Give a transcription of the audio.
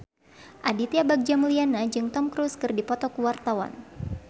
Aditya Bagja Mulyana jeung Tom Cruise keur dipoto ku wartawan